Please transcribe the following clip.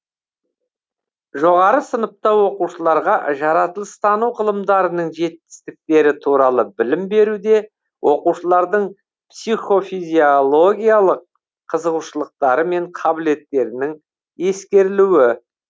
жоғары сыныпта оқушыларға жаратылыстану ғылымдарының жетістіктері туралы білім беруде оқушылардың психофизиологиялық қызығушылықтары мен қабілеттерінің ескерілуі